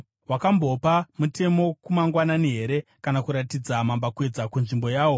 “Wakambopa mutemo kumangwanani here, kana kuratidza mambakwedza nzvimbo yawo,